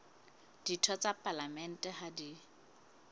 ditho tsa palamente ha di